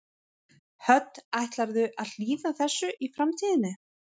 Hödd: Ætlarðu að hlýða þessu í framtíðinni?